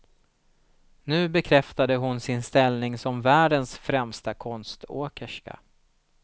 Nu bekräftade hon sin ställning som världens främsta konståkerska.